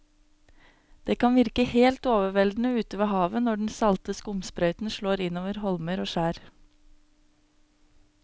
Det kan virke helt overveldende ute ved havet når den salte skumsprøyten slår innover holmer og skjær.